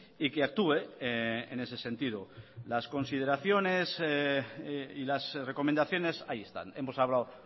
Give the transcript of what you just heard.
y que actúe en ese sentido las consideraciones y las recomendaciones ahí están hemos hablado